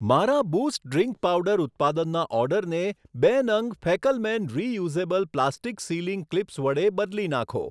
મારા boost drink powder ઉત્પાદનના ઓર્ડરને બે નંગ ફેકલમેન reusable plastic sealing clips વડે બદલી નાંખો.